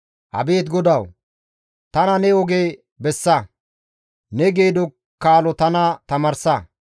Abeet GODAWU! Tana ne oge bessa; ne geedo kaalo tana tamaarsa.